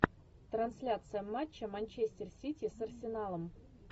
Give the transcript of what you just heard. трансляция матча манчестер сити с арсеналом